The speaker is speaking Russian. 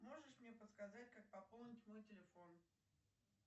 можешь мне подсказать как пополнить мой телефон